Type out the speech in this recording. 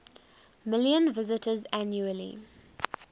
million visitors annually